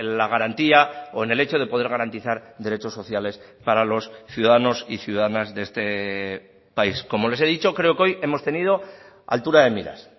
la garantía o en el hecho de poder garantizar derechos sociales para los ciudadanos y ciudadanas de este país como les he dicho creo que hoy hemos tenido altura de miras